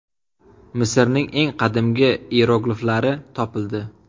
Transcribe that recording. Misrning eng qadimgi iyerogliflari topildi.